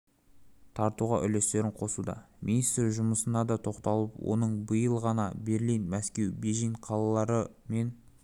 тартуға үлестерін қосуда министр жұмысына да тоқталып оның биыл ғана берлин мәскеу бейжің қалалары мен